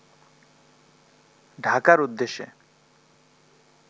ঢাকার উদ্দেশে